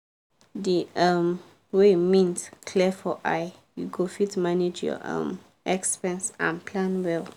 di um way mint clear for eye you go fit manage your um expense and plan well.